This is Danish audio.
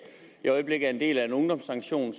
i øjeblikket er en del af en ungdomssanktion